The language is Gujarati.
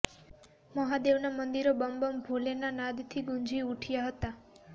મહાદેવના મંદિરો બમ બમ ભોલેના નાદથી ગુંજી ઉઠ્યા હતા